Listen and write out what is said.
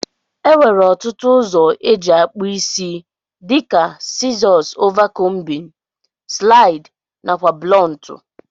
Enwere otụtu ọzọ eji akpụ isi dika sizos ova combin, slid nakwa blọntu.